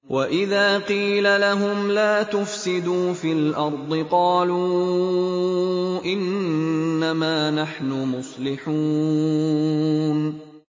وَإِذَا قِيلَ لَهُمْ لَا تُفْسِدُوا فِي الْأَرْضِ قَالُوا إِنَّمَا نَحْنُ مُصْلِحُونَ